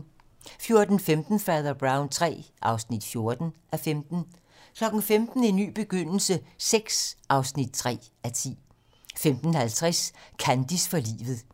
14:15: Fader Brown III (14:15) 15:00: En ny begyndelse VI (3:10) 15:50: Kandis for livet